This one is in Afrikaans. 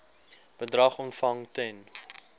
bedrag ontvang ten